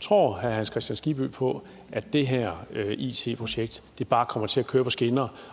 tror herre hans kristian skibby på at det her it projekt bare kommer til at køre på skinner